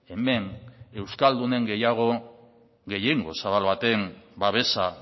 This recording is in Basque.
hemen euskaldunen gehiago gehiengo zabal baten babesa